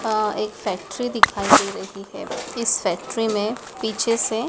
अ एक फैक्ट्री दिखाई दे रही है इस फैक्ट्री में पीछे से--